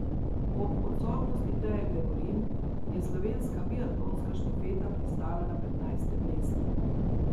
Ob odsotnosti Teje Gregorin je slovenska biatlonska štafeta pristala na petnajstem mestu.